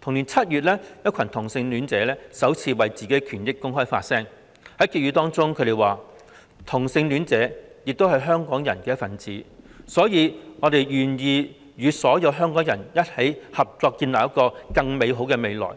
同年7月，一群同性戀者首次為自己的權益公開發聲，在結語中指出："同性戀者也是香港人的一份子，所以我們願意與所有香港人一起合作建立一個更美好的未來，